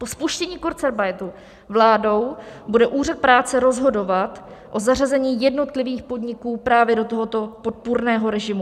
Po spuštění kurzarbeitu vládou bude úřad práce rozhodovat o zařazení jednotlivých podniků právě do tohoto podpůrného režimu.